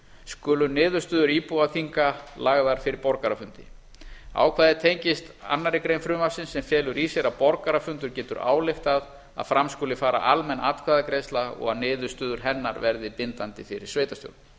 skuli niðurstöður íbúaþinga lagðar fyrir borgarafundi ákvæðið tengist annarri grein frumvarpsins sem felur í sér að borgarafundur getur ályktað að fram skuli fara almenn atkvæðagreiðsla og að niðurstöður hennar verði bindandi fyrir sveitarstjórn